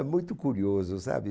É muito curioso, sabe?